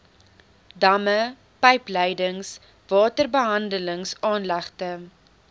damme pypleidings waterbehandelingsaanlegte